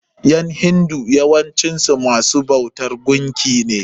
ƴan hindu yawancin su masu bautan gunki ne.